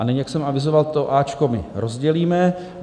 A nyní, jak jsem avizoval, to A my rozdělíme.